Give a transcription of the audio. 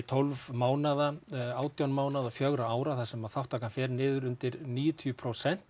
tólf mánaða átján mánaða og fjögurra ára þar sem þátttakan fer niður undir níutíu prósent